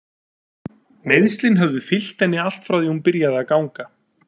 Meiðslin höfðu fylgt henni allt frá því hún byrjaði að ganga.